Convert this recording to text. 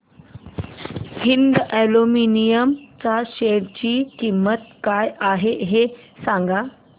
Hind aluminium च्या share ची किंमत काय आहे हे सांगा